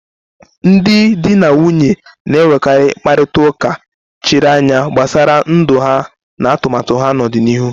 Ndị di na nwunye na-enwekarị mkparịta ụka chiri anya gbasara ndụ ha na atụmatụ ha n'ọdịnihu.